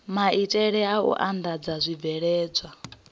maitele a u andadza zwibveledzwa